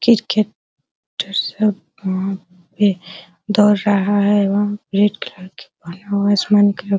किरके टर सब मम पे दौड़ रहा है वहां रेड कलर के पहना हुआ है असमान के लो --